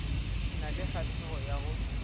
na le kgahlego ya go